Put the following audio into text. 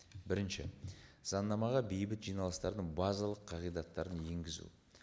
бірінші заңнамаға бейбіт жиналыстардың базалық қағидаттарын енгізу